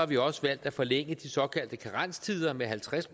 vi også valgt at forlænge de såkaldte karenstider med halvtreds